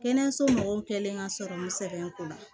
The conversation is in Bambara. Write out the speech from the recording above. Kɛnɛyaso mɔgɔw kɛlen ka sɔrɔ n sɛgɛn ko la